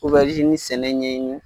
Obɛrizini sɛnɛ ɲɛɲi.